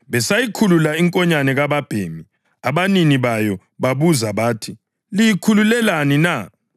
Besayikhulula inkonyane kababhemi, abanini bayo bababuza bathi, “Liyikhululelani na?”